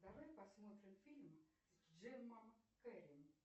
давай посмотрим фильм с джимом керри